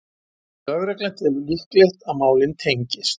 Lögregla telur líklegt að málin tengist